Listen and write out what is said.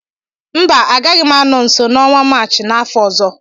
mba, agaghị m anọ nso n'ọnwa Maachị n'afọ ọzọ